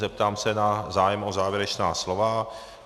Zeptám se na zájem o závěrečná slova.